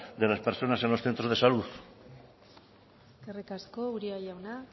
de las personas en los centros de salud eskerrik asko uria jauna